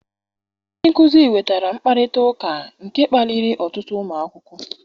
Ndị nkuzi wetara mkparịta ụka, nke kpaliri ọtụtụ ụmụ akwụkwọ